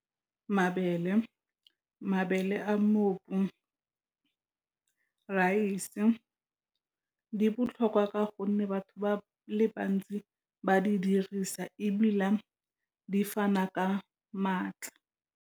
Mabele, mabele a , raese di botlhokwa ka gonne batho ba le bantsi ba di dirisa, ebile di fana ka maatla.